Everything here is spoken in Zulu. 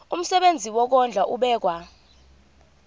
umsebenzi wokondla ubekwa